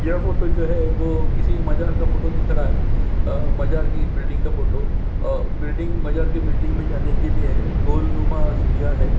यह फोटो जो है वो किसी मजार का फोटो दिख रहा है अ मजार की बिल्डिंग का फोटो अ बिल्डिंग मजार की बिल्डिंग में जाने के लिए गोलनुमा सीढियां हैं।